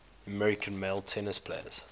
american male tennis players